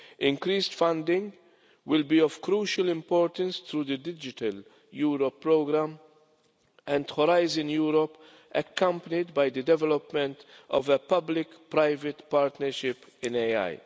Increased funding will be of crucial importance to the digital Europe programme and Horizon Europe, accompanied by the development of a public private partnership in AI.